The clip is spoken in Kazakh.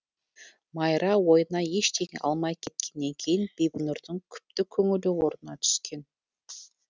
майра ойына ештеңе алмай кеткеннен кейін бибінұрдың күпті көңілі орнына түскен